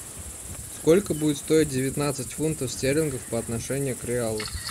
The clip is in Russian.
сколько будет стоить девятнадцать фунтов стерлингов по отношению к реалу